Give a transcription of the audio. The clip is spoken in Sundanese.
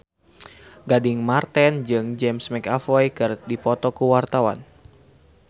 Gading Marten jeung James McAvoy keur dipoto ku wartawan